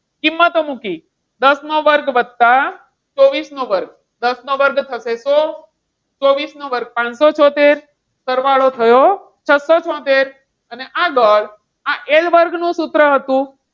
કિંમતો મુકી દસ નો વર્ગ વત્તા ચોવીસ નો વર્ગ દસ નો વર્ગ થશે સો અને ચોવીસ નો વર્ગ થશે પાનસો છોતેર સરવાળો થયો છસો છોતેર અને આગળ આ L વર્ગ નું સૂત્ર હતું.